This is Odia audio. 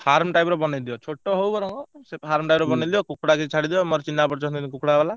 Farm type ର ବନେଇ ଦିଅ ଛୋଟ ହଉ ବରଂ ସେ farm type ର ବନେଇଦିଅ କୁକୁଡ଼ା ବି ଛାଡିଦିଅ ମୋର ଚିହ୍ନା ପରିଚ ଅଛନ୍ତି କୁକୁଡ଼ା ବାଲା।